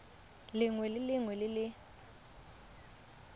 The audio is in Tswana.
lengwe le lengwe le le